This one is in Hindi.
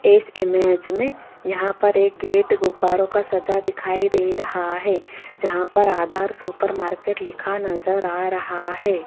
इस इमेज में यहां पर एक गेट गुब्बारों का सजा दिखाई दे रहा है जहां पर आदर्श सुपर मार्केट लिखा नजर आ रहा है।